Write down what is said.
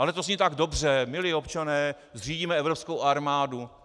Ale to zní tak dobře, milí občané, zřídíme evropskou armádu.